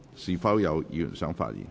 是否有議員想發言？